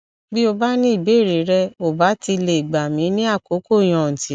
bí o bá ní ìbéèrè rẹ o bá ti lè gbà mí ní àkókò yòǹtì